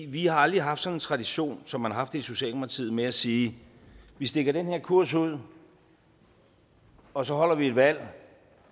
vi har aldrig haft sådan en tradition som man har haft i socialdemokratiet med at sige vi stikker den her kurs ud og så holder vi et valg